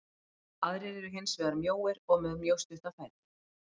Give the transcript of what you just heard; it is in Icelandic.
Aðrir eru hins vegar mjóir og með mjög stutta fætur.